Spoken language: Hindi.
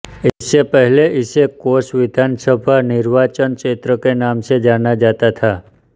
इससे पहले इसे कोंच विधानसभा निर्वाचन क्षेत्र के नाम से जाना जाता था